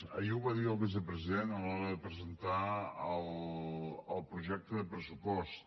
ahir ho va dir el vicepresident a l’hora de presentar el projecte de pressupost